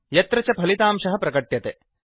यत्र च फलितांशः प्रकट्यते